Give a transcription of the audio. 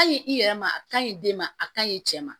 Ka ɲi i yɛrɛ ma a ka ɲi den ma a ka ɲi cɛ ma